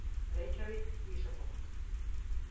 Reykjavík, Ísafold.